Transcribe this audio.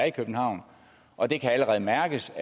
i københavn og det kan allerede mærkes